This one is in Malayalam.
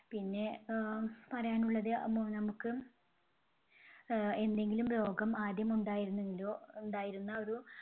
പിന്നെ ആഹ് പറയാനുള്ളത് നമുക്ക് ആഹ് എന്തെങ്കിലും രോഗം ആദ്യം ഉണ്ടായിരുന്നെങ്കിലോ, ഉണ്ടായിരുന്ന ഒരു